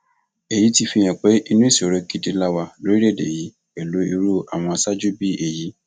èyí ti fihàn pé inú ìṣòro gidi la wà lórílẹèdè yìí pẹlú irú àwọn aṣáájú bíi èyí